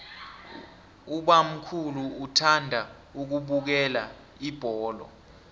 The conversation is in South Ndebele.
ubamkhulu uthanda ukubukela ibholo